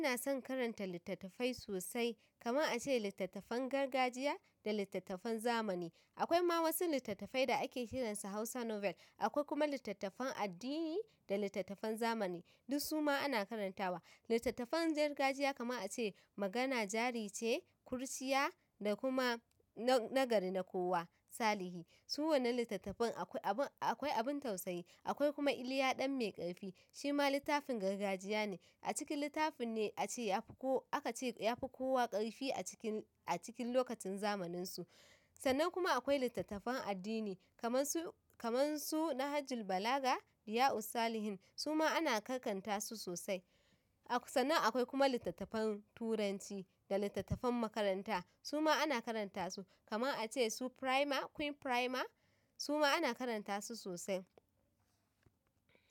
Ina son karanta littattafai sosai, kamar a ce littattafan gargajiya da littattafan zamani. Akwai ma wasu littattafai da ake kiransu Hausa novel. Akwai kuma littattafan addini da littattafan zamani, duk su ma ana karantawa. Littattafan gargajiya kaman a ce, magana jarice, kurciya da kuma na na gari na kowa salihi su wannan littattafan akwai abin akwai abin tausayi, akwai kuma Iliya ɗan mai ƙarfi, shi ma littafin gargajiya ne. A cikin littafin ne aka ce ya fi kowa ƙarfi a cikin, a cikin lokacin zamaninsu. Sannan kuma akwai littattafan addini kamar su, kamar su na Hajji Balaga, Iya Usalihen, su ma ana kakkanta su sosai. Sannan akwai kuma littattafan turanci da littattafan makaranta, su ma ana karanta su kamar a ce su prima, queen prima, su ma ana karanta su sosai.